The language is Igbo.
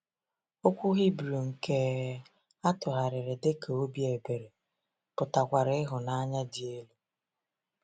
Okwu Hibru nke atụgharịrị dị ka “obi ebere” pụtakwara “ịhụnanya dị elu.”